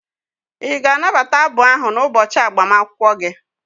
Ị ga-anabata abụ ahụ n'ụbọchị agbamakwụkwọ gị?